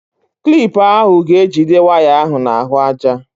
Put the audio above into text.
Klip ahụ ga-ejide waya ahụ n'ahụaja.